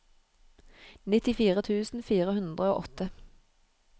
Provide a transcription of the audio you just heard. nittifire tusen fire hundre og åtte